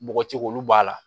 Bɔgɔci k'olu b'a la